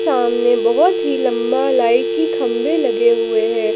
सामने बहोत ही लंबा लाइट के खंभे लगे हुए हैं।